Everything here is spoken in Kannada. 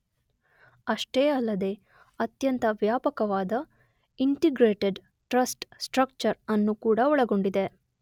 ಅಷ್ಟೇ ಅಲ್ಲದೇ ಅತ್ಯಂತ ವ್ಯಾಪಕವಾದ ಇಂಟಿಗ್ರೇಟೆಡ್ ಟ್ರಸ್ ಸ್ಟ್ರಕ್ಚರ್ ಅನ್ನು ಕೂಡ ಒಳಗೊಂಡಿದೆ.